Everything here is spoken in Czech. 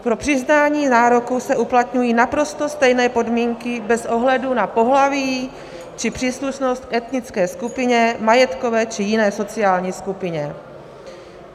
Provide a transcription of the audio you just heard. Pro přiznání nároku se uplatňují naprosto stejné podmínky bez ohledu na pohlaví či příslušnost k etnické skupině, majetkové či jiné sociální skupině.